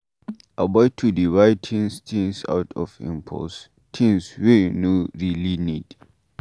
Avoid to dey buy things things out of impulse, things wey you no really need